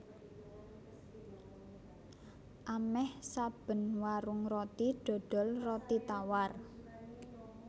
Amèh saben warung roti dodol roti tawar